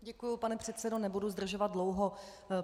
Děkuji, pane předsedo, nebudu zdržovat dlouho.